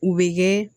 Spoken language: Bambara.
U bɛ kɛ